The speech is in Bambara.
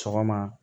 Sɔgɔma